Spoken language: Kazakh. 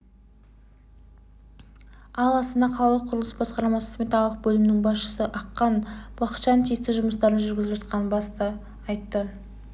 ал астана қалалық құрылыс басқармасы сметалық бөлімінің басшысы аққан бақытжан тиісті жұмыстардың жүргізіліп жатқанын баса айтты